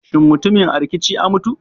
Shin mutumin a rikici a mutu?